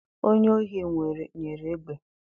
Onye ohi nwere egbe